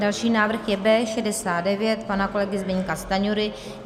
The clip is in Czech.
Další návrh je B69 pana kolegy Zbyňka Stanjury.